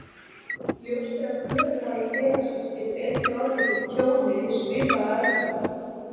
Ljóst er að kröfuhafi félagsins getur einnig orðið fyrir tjóni við svipaðar aðstæður.